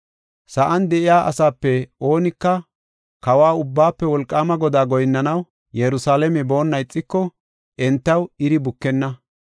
Sa7an de7iya asaape oonika Kawa, Ubbaafe Wolqaama Godaa goyinnanaw Yerusalaame boonna ixiko, entaw iri bukenna.